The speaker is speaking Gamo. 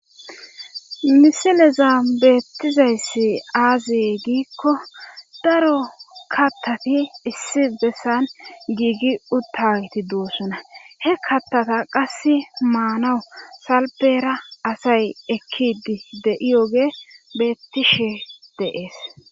Misileza beettizayssi aaziy giikko daro kattati issi bessan giigi uttaweti duussuna he kattata qass maanawu salbera asay ekkidi de7iyoge beettishe dees.